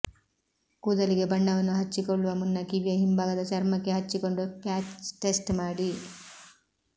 ಕೂದಲಿಗೆ ಬಣ್ಣವನ್ನು ಹಚ್ಚಿಕೊಳ್ಳುವ ಮುನ್ನ ಕಿವಿಯ ಹಿಂಭಾಗದ ಚರ್ಮಕ್ಕೆ ಹಚ್ಚಿಕೊಂಡು ಪ್ಯಾಚ್ ಟೆಸ್ಟ್ ಮಾಡಿ